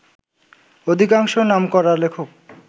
অধিকাংশই নামকরা লেখক